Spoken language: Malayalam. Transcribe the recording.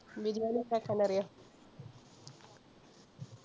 ബിരിയാണി ഇണ്ടാക്കാൻ അറിയോ?